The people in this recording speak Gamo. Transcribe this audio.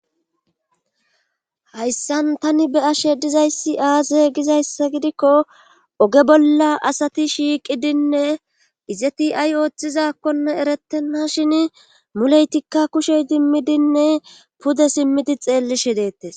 Hayssan tani be ashe dizayssi aaze gizayssa gidikko oge bolla asati shiiqidinne izeti ay ooththizakkonne erettenna shin muleytikka kushey dimmidinne pude simmidi xeellishe deettes